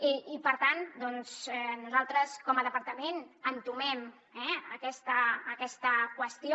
i per tant nosaltres com a departament entomem aquesta qüestió